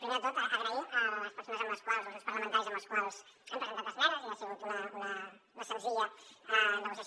primer de tot donar les gràcies a les persones o als grups parlamentaris amb els quals hem presentat esmenes i ha sigut una senzilla negociació